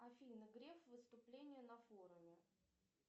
афина греф выступление на форуме